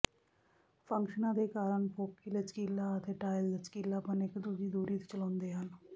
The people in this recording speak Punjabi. ਫੰਕਸ਼ਨਾਂ ਦੇ ਕਾਰਨ ਫੋਕੀ ਲਚਕੀਲਾ ਅਤੇ ਟਾਇਲ ਲਚਕੀਲਾਪਣ ਇੱਕ ਦੂਜੀ ਦੂਰੀ ਚਲਾਉਂਦੇ ਹਨ